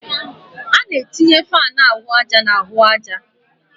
A na-etinye fáan ahụ àjà na ahụ àjà